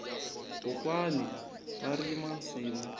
kwokwani va rima nsimu